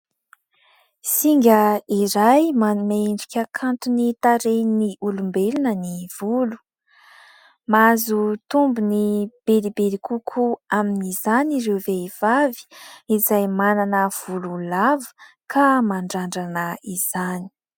finga iray manendrika ny tarehin'ny olombelona ny volo ;mahazo tombony lehibe kokoa amin'izany ireo vehivavy izay manana volo lava ka mandrandrana izany